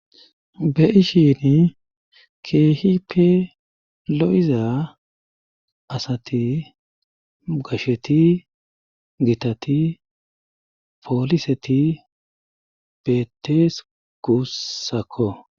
Beyishshini keehipe lo'iza asati gashsheti gittati pooliseti beetees gussakko